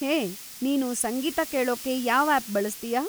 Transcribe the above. ಹೇ, ನೀನು ಸಂಗೀತ ಕೇಳೋಕ್ಕೆ ಯಾವ್‌ ಆಪ್‌ ಬಳಸ್ತೀಯಾ?